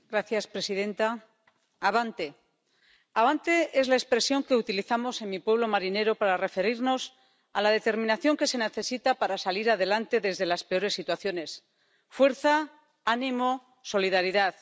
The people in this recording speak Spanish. Señora presidenta, abante. Abante es la expresión que utilizamos en mi pueblo marinero para referirnos a la determinación que se necesita para salir adelante de las peores situaciones. Fuerza, ánimo, solidaridad.